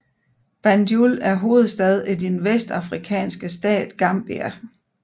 Banjul er hovedstad i den vestafrikanske stat Gambia